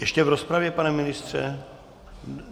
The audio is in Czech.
Ještě v rozpravě, pane ministře?